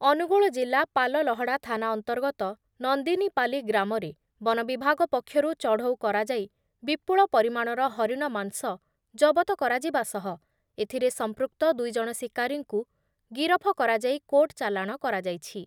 ଅନୁଗୁଳ ଜିଲ୍ଲା ପାଲଲହଡ଼ା ଥାନା ଅନ୍ତର୍ଗତ ନନ୍ଦିନୀପାଲି ଗ୍ରାମରେ ବନବିଭାଗ ପକ୍ଷରୁ ଚଢ଼ଉ କରାଯାଇ ବିପୁଳ ପରିମାଣର ହରିଣ ମାଂସ ଜବତ କରାଯିବା ସହ ଏଥିରେ ସଂପୃକ୍ତ ଦୁଇ ଜଣ ଶିକାରୀଙ୍କୁ ଗିରଫ କରାଯାଇ କୋର୍ଟ ଚାଲାଣ କରାଯାଇଛି ।